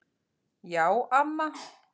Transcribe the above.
Já, amma.